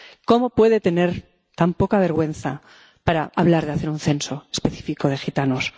¿Cómo puede tener tan poca vergüenza como para hablar de hacer un censo específico de gitanos?